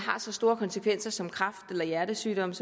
har så store konsekvenser som kræft eller hjertesygdomme